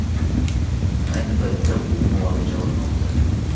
Ayni paytda u muolaja olmoqda.